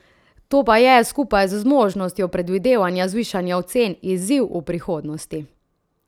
To pa je, skupaj z zmožnostjo predvidevanja zvišanja ocen, izziv v prihodnosti.